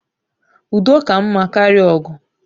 Udo ka mma karịa ogu